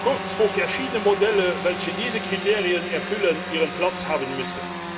kurz, wo verschiedene Modelle, welche diese Kriterien erfüllen, ihren Platz haben müssen.